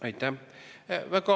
Aitäh!